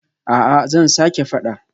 A'a zan sake fada